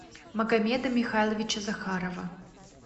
магомеда михайловича захарова